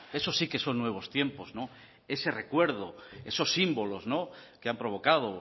eso sí que son nuevos tiempos ese recuerdo esos símbolos que han provocado